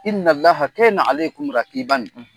,